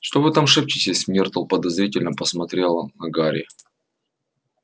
что вы там шепчетесь миртл подозрительно посмотрела на гарри